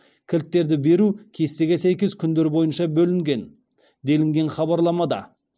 кілттерді беру кестеге сәйкес күндер бойынша бөлінген делінген хабарламада